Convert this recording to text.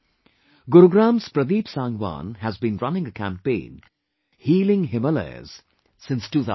Gurugram's Pradeep Sangwan has been running a campaign 'Healing Himalayas' since 2016